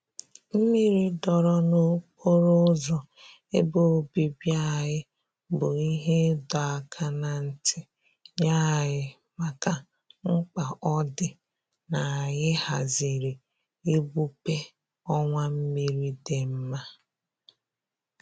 Mmiri dọọrọ n'okporo ụzọ ebe obibi anyị bụ ihe ịdọ aka na ntị nye anyị maka mkpa ọ dị n'anyị haziri igbupe ọwa mmiri dị nma